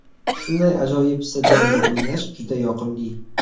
Shunday ajoyib stadionda o‘ynash juda yoqimli.